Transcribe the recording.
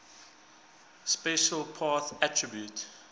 special path attribute